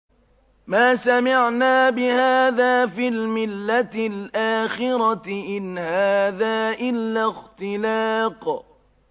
مَا سَمِعْنَا بِهَٰذَا فِي الْمِلَّةِ الْآخِرَةِ إِنْ هَٰذَا إِلَّا اخْتِلَاقٌ